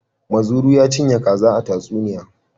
Muzuru ya cinye kaza a tatsuniya.